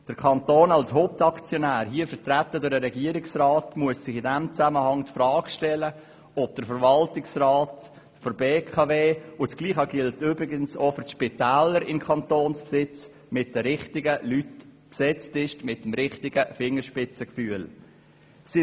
Der Kanton als Hauptaktionär – hier vertreten durch den Regierungsrat – muss sich in diesem Zusammenhang die Frage stellen, ob der Verwaltungsrat der BKW mit den richtigen Leuten besetzt ist, die über das nötige Fingerspitzengefühl verfügen.